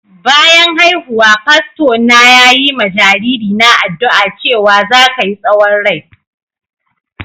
Bayan haihuwa, fasto na yayi ma jariri na addu'a cewa "Za ka yi tsawon rai. "